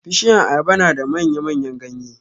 Bishiyan ayaba na da manya-manyan ganye.